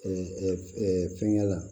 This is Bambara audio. fɛngɛ la